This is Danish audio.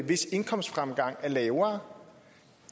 hvis indkomstfremgang er lavere